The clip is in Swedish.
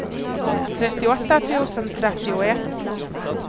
trettioåtta tusen trettioett